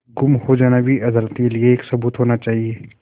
गुम हो जाना भी अदालत के लिये एक सबूत होना चाहिए